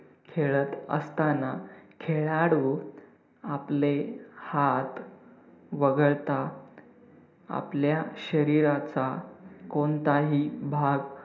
खेळत असताना खेळाडू आपले हात वगळता आपल्या शरीराचा कोणताही भाग